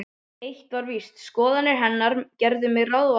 Eitt var víst: Skoðanir hennar gerðu mig ráðvillta.